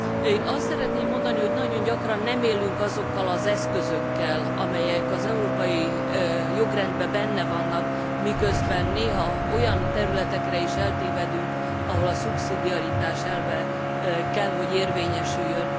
Én azt szeretném mondani, hogy nagyon gyakran nem élünk azokkal az eszközökkel, amelyek az európai jogrendben benne vannak, miközben néha olyan területekre is áttévedünk, ahol a szubszidiaritás elve kell, hogy érvényesüljön.